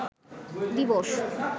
দিবস